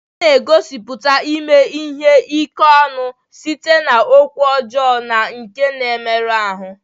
A na-egosipụta ime ihe ike ọnụ site n'okwu ọjọọ na nke na-emerụ ahụ.